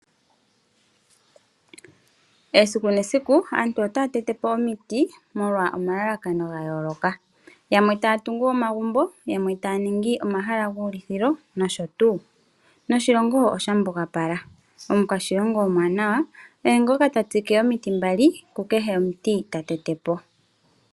Esiku nesiku aantu otaa tetepo omiti molwa omalalakano ga yooloka. Yamwe ta ya tungu omagumbo, tamwe ta ya ningi omahala guu lithilo nosho tuu, noshilongo osha mbugapala. Omukwashilongo omwaanawalye ngoka ha trike omiti mbali ku kehe omuti ta tetepo.